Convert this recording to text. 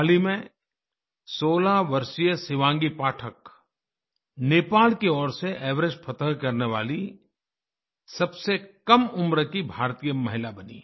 हाल ही में 16 वर्षीय शिवांगी पाठक नेपाल की ओर से एवरेस्ट फ़तह करने वाली सबसे कम उम्र की भारतीय महिला बनी